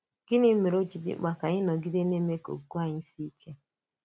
Gịnị mèrè ó ji dị mkpa kà anyị nọgide na-èmè ka okwukwè anyị sìe ike?